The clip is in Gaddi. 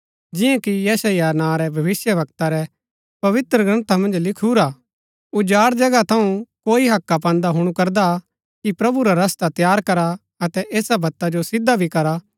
जियां कि यशायाह नां रै भविष्‍यवक्ता रै पवित्रग्रन्था मन्ज लिखिऊरा उजाड़ जगहा थऊँ कोई हक्का पान्दा हुणु करदा कि प्रभु रा रस्ता तैयार करा अतै ऐसा वत्ता जो सिदा भी करा